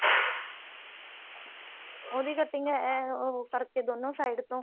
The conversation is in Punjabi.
ਉਹਦੀ cutting ਇਹ ਉਹ ਕਰਕੇ ਦੋਨੋ side ਤੋਂ